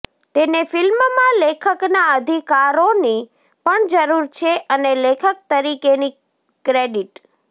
તેને ફિલ્મમાં લેખકના અધિકારોની પણ જરૂર છે અને લેખક તરીકેની ક્રેડિટ